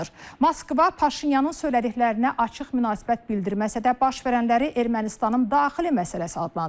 Moskva Paşinyanın söylədiklərinə açıq münasibət bildirməsə də, baş verənləri Ermənistanın daxili məsələsi adlandırır.